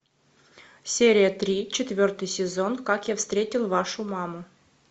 серия три четвертый сезон как я встретил вашу маму